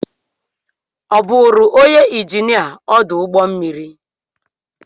Ọ bụụrụ onye injinia ọdụ ụgbọ mmiri?